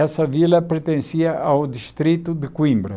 Essa vila pertencia ao distrito de Coimbra.